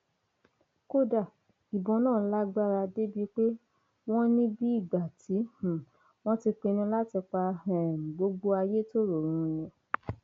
kódà ìbọn náà lágbára débìí pé wọn ní bíi ìgbà tí um wọn ti pinnu láti pa um gbogbo ayétoro run ni